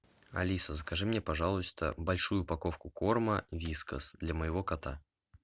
алиса закажи мне пожалуйста большую упаковку корма вискас для моего кота